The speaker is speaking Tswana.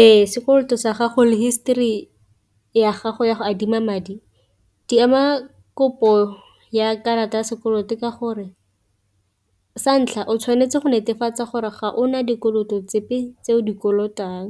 Ee, sekoloto sa gago le histori ya gago ya go adima madi di ama kopo ya karata ya sekoloto ka gore sa ntlha o tshwanetse go netefatsa gore ga ona dikoloto tse epe tse o di kolotang,